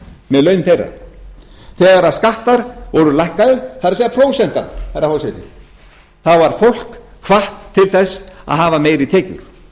með laun þeirra þegar skattar voru lækkaðir það er prósentan herra forseti var fólk hvatt til þess að hafa meiri tekjur það tók